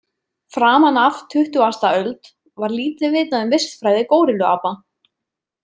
Framan af tuttugasta öld var lítið vitað um vistfræði górilluapa.